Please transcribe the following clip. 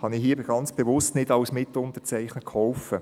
habe ich hier ganz bewusst nicht als Mitunterzeichner geholfen.